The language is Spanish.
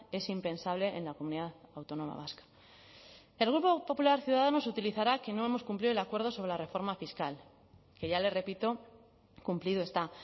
es impensable en la comunidad autónoma vasca el grupo popular ciudadanos utilizará que no hemos cumplido el acuerdo sobre la reforma fiscal que ya le repito cumplido está